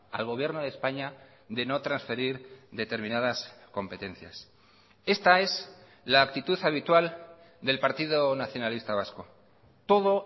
al gobierno de españa de no transferir determinadas competencias esta es la actitud habitual del partido nacionalista vasco todo